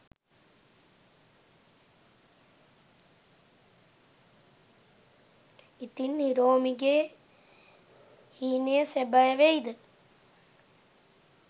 ඉතින් හිරෝමිගේ හීනය සැබෑ වෙයිද ?